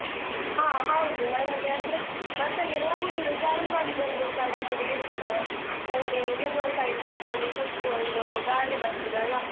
ಹಾ ಹೌದು, ನನ್ಗೆ ಅಂದ್ರೆ bus ಅಲ್ಲಿ ಹೋಗುದು ಅಂದ್ರೆ travel ಮಾಡುದು ಅಂದ್ರೆಸ ನನ್ಗೆ ಇಷ್ಟ, ನಂಗೆ window side seat ಅಲ್ಲಿ ಕುತ್ಕೊಂಡು ಗಾಳಿ ಬರ್ತದಲ್ಲ. ಮತ್ತೆ song ಕೇಳ್ಕೊಂಡು ಹೋಗೋದು, weather ತುಂಬ ಒಳ್ಳೆಸ ಇದ್ರೆ ನಂಗೆ ನಿದ್ರೆಸ ಬರ್ತದೆ ಹಾಗೆ, ನಿಮ್ಗೆ ಇಷ್ಟವಾ?